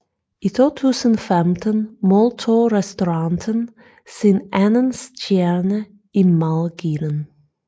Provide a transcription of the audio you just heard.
I 2015 modtog restauranten sin anden stjerne i madguiden